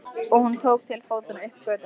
Og hún tók til fótanna upp götuna.